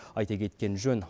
айта кеткен жөн